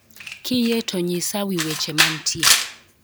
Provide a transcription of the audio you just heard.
Kiyie to nyisa wi weche mantie